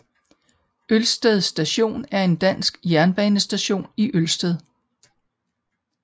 Ølsted Station er en dansk jernbanestation i Ølsted